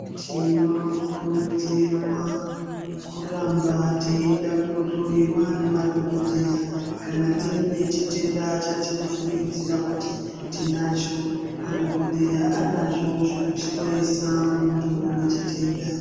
Tinokurudzirwa kuramba teienda kunohloyiwa nemadhokodheya kana tine chitenda chatinofungidzira kuti tinacho madhokodheya anazvo zvekuhloyesa muntu une chitenda.